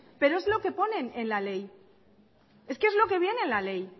pero es lo que pone en la ley es que es lo que viene en la ley